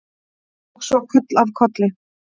Og svo koll af kolli.